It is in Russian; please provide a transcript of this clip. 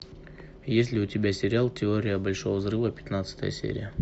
есть ли у тебя сериал теория большого взрыва пятнадцатая серия